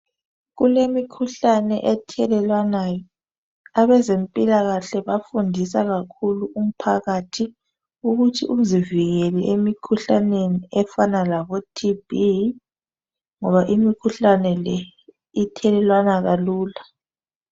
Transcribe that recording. Kulemikhuhlane ethelelwanayo. Abezempilakahle bayafundisa kakhulu umphakathi ukuthi uzivikele emikhuhlaneni efana laboTB ngoba imikhuhlane le ithelelwana kalula.